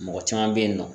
Mɔgɔ caman bɛ yen nɔ